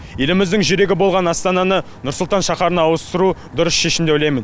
еліміздің жүрегі болған астананы нұр сұлтан шаһарына ауыстыру дұрыс шешім деп ойлаймын